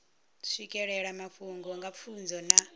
swikelela mafhungo nga pfunzo na